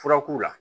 Fura k'u la